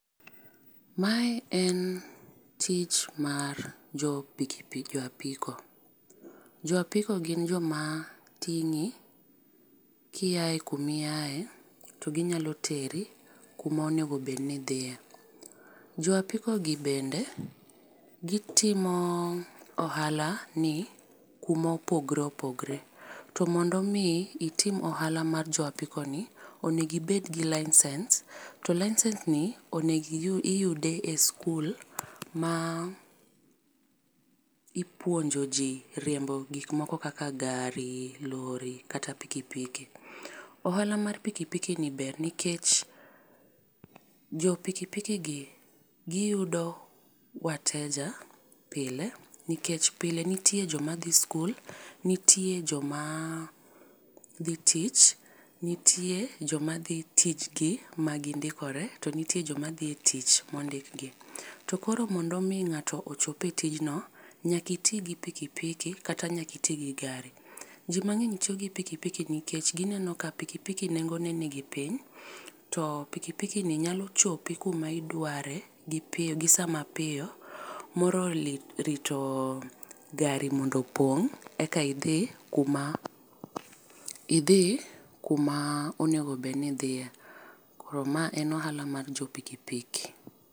Mae en tich mar jo pikipiki jo apiko. Jo apiko gin jo ma tingi ki iya kuma iyae to gi nyalo teri kuma onego bed ni idhiye. Jo apiko gi bende gi timo ohala ni kuma opogore opogore. To mondo mi itim ohala mar jo apiko ni onego ibed gi license, to license ni onego iyude e skul ma ipuonjo ji riembo gik moko kaka gari, lori kata piki pkiki. Ohala mar pikipiki ni ber nikech jo piki piki gi gi yudo wateja pile nikech pile nitie jo ma dhi skul, nitie jo ma dhi tich, nitie jo ma dhi tij gi ma gi ndikore ,to nitie jo ma dhi tich ma ondiki. To koro mondo mi ng'ato ochop e tijn no nyaka iti gi piki piki kata nyaka iti gi gari. Ji mangeny tiyo gi piki piki nikech gi neno ka piki piki nengo ne ni piny to piki piki ni nyalo chopi kuma idware gi piyo gi saa ma piyo molo lito rito gari mondo opong e ka idhi kuma idhi kuma onego bed ni idhiye. Koro ma en ohala mar jo piki piki.